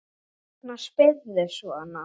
Hvers vegna spyrðu svona?